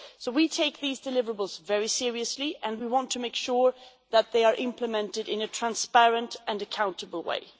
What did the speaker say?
We take these deliverables very seriously and we want to make sure that they are implemented in a transparent and accountable way.